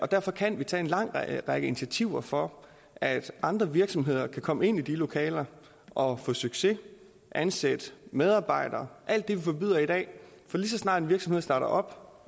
derfor kan vi tage en lang række initiativer for at andre virksomheder kan komme ind i de lokaler og få succes ansætte medarbejdere alt det vi forbyder i dag for lige så snart en virksomhed starter op